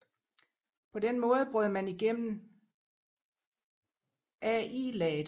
På den måde brød man igennem Al laget